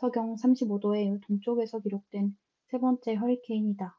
35°w의 동쪽에서 기록된 세 번째 허리케인이다